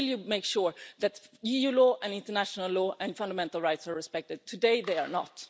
Will you make sure that EU law and international law and fundamental rights are respected? Today, they are not.